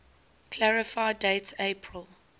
clarify date april